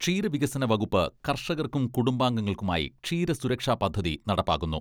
ക്ഷീരവികസന വകുപ്പ് കർഷകർക്കും കുടുംബാംഗങ്ങൾക്കുമായി ക്ഷീര സുരക്ഷാ പദ്ധതി നടപ്പാക്കുന്നു.